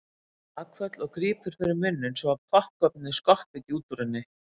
Hún tekur bakföll og grípur fyrir munninn svo að poppkornið skoppi ekki út úr henni.